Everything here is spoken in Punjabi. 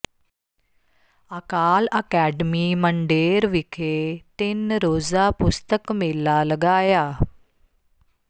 ਅਕਾਲ ਅਕੈਡਮੀ ਮੰਡੇਰ ਵਿਖੇ ਤਿੰਨ ਰੋਜ਼ਾ ਪੁਸਤਕ ਮੇਲਾ ਲਗਾਇਆ